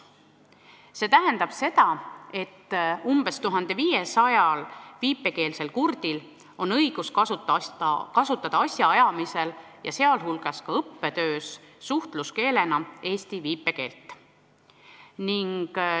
See tähendab seda, et umbes 1500 viipekeelsel kurdil on õigus kasutada asjaajamisel ja sealhulgas ka õppetöös suhtluskeelena eesti viipekeelt.